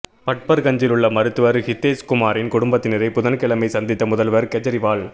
பட்பா்கஞ்சில் உள்ள மருத்துவா் ஹிதேஷ் குமாரின் குடும்பத்தினரை புதன்கிழமை சந்தித்த முதல்வா் கேஜரிவால்